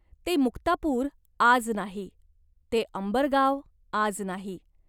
ते मुक्तापूर आज नाही. ते अंबर गाव आज नाही.